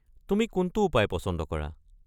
তুমি কোনটো উপায় পচন্দ কৰা?